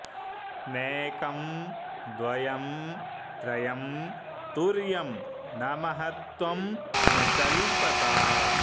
नैकं द्वयं त्रयं तुर्यं न महत्वं न चल्पता